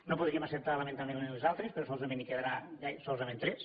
no podríem acceptar lamentablement les altres però solament li’n quedaran solament tres